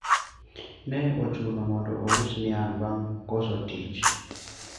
ne ochuno mondo aus niang bang koso tich